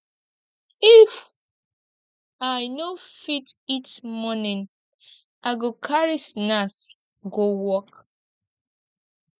if i no fit eat morning i go carry snack go work